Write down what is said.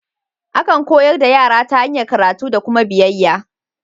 Akan koyar da yara ta hanyar karatu da kuma biyayya.